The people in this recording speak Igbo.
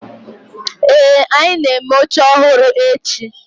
ee, anyi na-eme oche ohuru echi